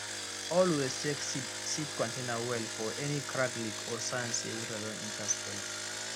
always check seed seed container well for any crack leak or sign say water don enter spoil am